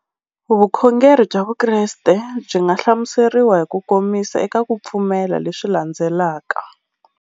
Vukhongeri bya Vukreste byi nga hlamuseriwa hi kukomisa eka ku pfumela leswi landzelaka.